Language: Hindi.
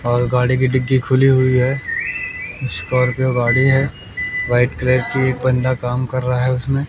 और गाड़ी की डिग्गी खुली हुई है स्कॉर्पियो गाड़ी है व्हाइट कलर की एक बंदा काम कर रहा है उसमें--